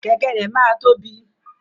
Kẹkẹ rẹ máa tóbi.